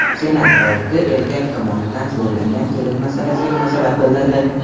Senat olti erkak tomonidan zo‘rlangan kelin masalasiga munosabat bildirdi.